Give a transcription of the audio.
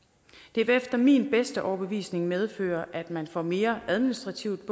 det vil efter min bedste overbevisning medføre at man får mere administrativt